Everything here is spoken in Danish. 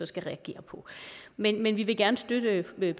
skal reagere på men men vi vil gerne støtte